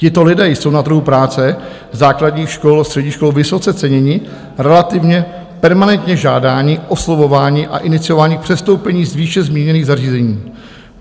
Tito lidé jsou na trhu práce základních škol, středních škol vysoce ceněni, relativně permanentně žádáni, oslovováni a iniciováni k přestoupení z výše zmíněných zařízení.